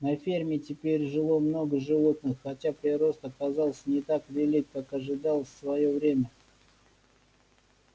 на ферме теперь жило много животных хотя прирост оказался не так велик как ожидалось в своё время